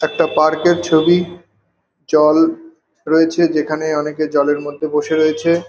একটা পার্ক -এর ছবি জল রয়েছে যেখানে অনেকে জলের মধ্যে বসে রয়েছে।